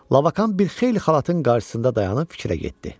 Labakan bir xeyli xalatın qarşısında dayanıb fikrə getdi.